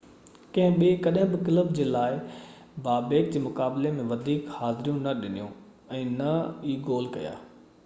ڪنهن ٻي ڪڏهن بہ ڪلب جي لاءِ بابيڪ جي مقابلي ۾ وڌيڪ حاضريون نہ ڏنيون ۽ نه ئي گول ڪيا